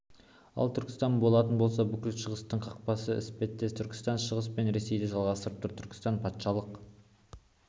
ал түркістан болатын болса бүкіл шығыстың қақпасы іспеттес түркістан шығыс пен ресейді жалғастырып тұр түркістан патшалық